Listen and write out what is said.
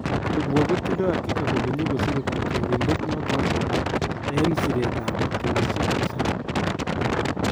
kipsebwo kotindoi hakika kole nyikosirei tyarindet notoko eng Siret ap kenyisiek tisap